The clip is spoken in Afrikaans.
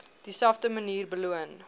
dieselfde manier beloon